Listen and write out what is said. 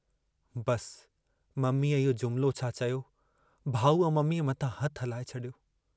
बसि मम्मीअ इहो जुमिलो छा चयो, भाऊअ मम्मीअ मथां हथु हलाए छॾियो।